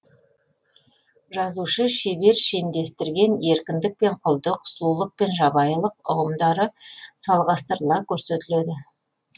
жазушы шебер шендестірген еркіндік пен құлдық сұлулық пен жабайылық ұғымдары салғастырыла көрсетіледі